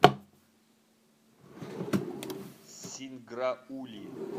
синграули